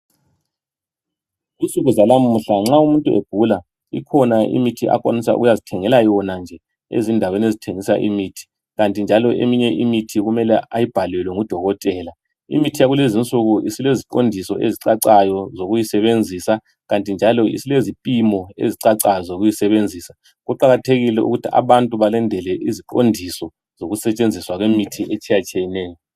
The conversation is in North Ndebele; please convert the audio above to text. Kunsuku zanamuhla nxa umuntu egula, ikhona imithi umuntu akwanisa ukuyazithengela yona nje ezindaweni ezithengisa imithi, kanti njalo eminye imithi kumele ayibhalelwe ngudokotela. Imithi yakulezinsuku isileziqondiso ezicacayo zokuyisebenzisa kanti njalo iailezipimo ezicacayo zokuyisebenzisa. Kuqakathekile ukuthi abantu balandele iziqondiso sekusetshenziswa kwemithi etshiyatshiyeneyo.